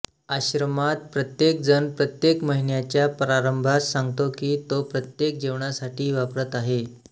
आश्रमांत प्रत्येकजण प्रत्येक महिन्याच्या प्रारंभास सांगतो की तो प्रत्येक जेवणासाठी वापरत आहे